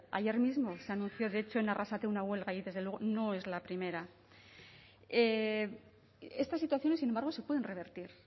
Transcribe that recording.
ayer mismo se anunció de hecho en arrasate una huelga y desde luego no es la primera estas situaciones sin embargo se pueden revertir